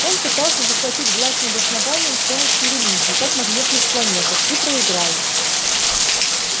он пытался захватить власть над основанием с помощью религии как на внешних планетах и проиграл